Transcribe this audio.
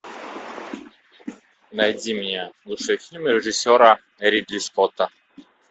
найди мне лучшие фильмы режиссера ридли скотта